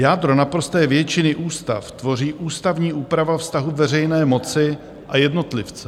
Jádro naprosté většiny ústav tvoří ústavní úprava vztahu veřejné moci a jednotlivce.